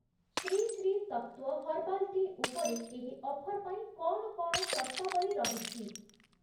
Shri Sri Tattva herbal tea ଉପରେ ଏହି offer ପାଇଁ କ’ଣ କ'ଣ ସର୍ତ୍ତାବଳୀ ରହିଛି?